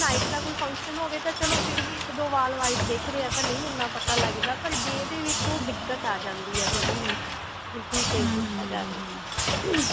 ਜੇ night ਦਾ ਕੋਈ function ਹੋਵੇ ਤਾਂ ਚਲੋਂ ਫਿਰ ਵੀ ਇੱਕ ਦੋ ਵਾਲ white ਦਿਖ ਰਹੇ ਹੈ ਤਾਂ ਨਹੀਂ ਇੰਨਾ ਪਤਾ ਲੱਗਦਾ ਪਰ day ਦੇ ਵਿੱਚ ਦਿੱਕਤ ਆ ਜਾਂਦੀ ਹੈ ਥੋੜੀ ਜਿਹੀ ਵੀ ਕੀ ਕੀਤਾ ਜਾਵੇ